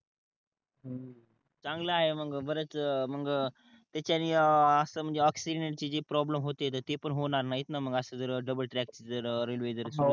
चांगल आहे मग बरेच मग त्याच्यानी अं अस म्हणजे ऑफ सिग्नल ची प्रोब्लेम होते ते पण होणार नाहीत ना मग अस जर डबल ट्रॅक ची जर रेलवे झाली